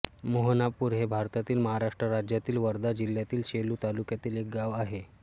मोहनापूर हे भारतातील महाराष्ट्र राज्यातील वर्धा जिल्ह्यातील सेलू तालुक्यातील एक गाव आहे